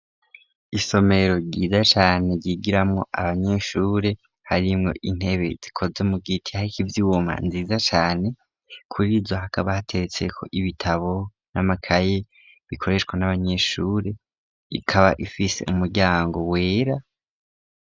Isomero ryiza cane ryigiramwo abanyeshure harimwo intebe zikoze mugiti harikw'ivyuma nziza cane, kurizo hakaba hateretseko ibitabo n'amakaye bikoreshwa n'abanyeshure ikaba ifise umuryango wera.